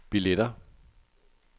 billetter